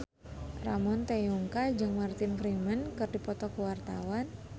Ramon T. Yungka jeung Martin Freeman keur dipoto ku wartawan